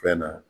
Fɛn na